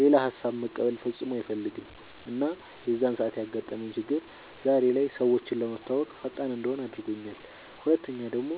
ሌላ ሃሳብ መቀበል ፈፅሞ አይፈልግም እና የዛን ሰዓት ያጋጠመኝ ችግር ዛሬ ላይ ሰወችን ለመተወወቅ ፈጣን እንድሆን አድርጎኛል ሁለተኛ ደሞ